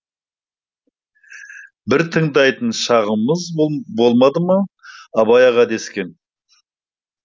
бір тыңдайтын шағымыз болмады ма абай аға дескен